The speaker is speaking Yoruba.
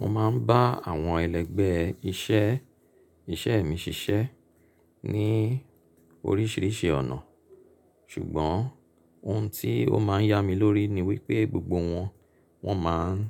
Mo máa ń bá àwọn ẹlẹgbẹ́ iṣẹ́ iṣẹ́ mi ṣiṣẹ́ ní oríṣiríṣi ọ̀nà, ṣùgbọ́n ohun tí ó máa ń yá mi lórí ni wípé gbogbo wọn, wọ́n máa ń